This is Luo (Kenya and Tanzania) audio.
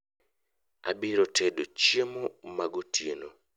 abiro tedo chiemo magotieno